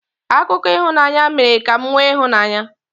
Akụkọ ịhụnanya mere ka m nwee ịhụnanya.